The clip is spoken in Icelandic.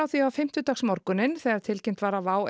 því á fimmtudagsmorguninn þegar tilkynnt var að WOW